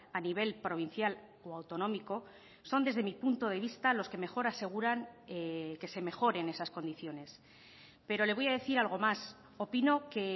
a nivel provincial o autonómico son desde mi punto de vista los que mejor aseguran que se mejoren esas condiciones pero le voy a decir algo más opino que